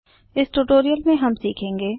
इस ट्यूटोरियल में हम सीखेंगे